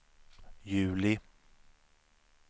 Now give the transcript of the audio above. juli